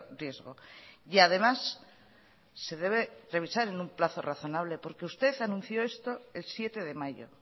riesgo y además se debe revisar en un plazo razonable porque usted anunció esto el siete de mayo